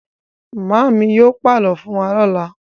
Màámi yóò pàlọ́ fún wa lọ́la.